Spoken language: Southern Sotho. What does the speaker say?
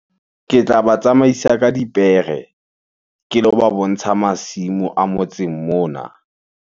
Ke tla ba tsamaisa ka dipere ke lo ba bontsha masimo a motseng mona.